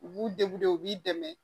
U b'u u b'i dɛmɛ